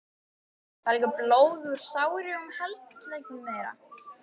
Það lekur blóð úr sárum handleggjum þeirra.